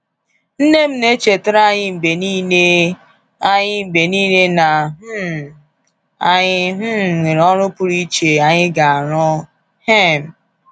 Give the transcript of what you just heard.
Nne m na-echetara anyị mgbe niile anyị mgbe niile na um anyị um nwere ọrụ pụrụ iche anyị ga-arụ um